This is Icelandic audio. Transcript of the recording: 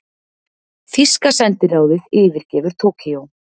Þýska sendiráðið yfirgefur Tókýó